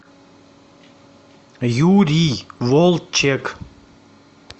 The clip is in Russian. юрий волчек